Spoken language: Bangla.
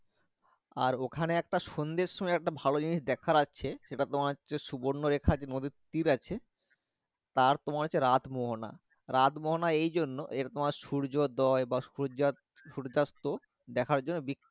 আর ওখানে সন্ধে সময় একটা ভালো জিনিস দেখার আছে এটা তোমার সুবর্ণ রেখা নদীরতীর আছে তার পর হচ্ছে রাত মোহনা রত মোহনা হচ্ছে এই জন্য এদের তোমার সূর্য, দল বা সূর্য্যস্ত দেখার জন্য